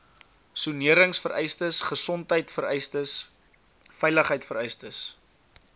soneringvereistes gesondheidvereistes veiligheidvereistes